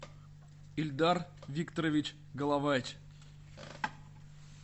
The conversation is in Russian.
ильдар викторович головач